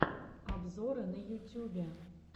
обзоры на ютюбе